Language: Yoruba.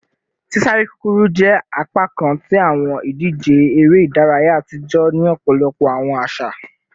Sisare kukuru jẹ apakan ti awọn idije ere idaraya atijọ ni ọpọlọpọ awọn aṣa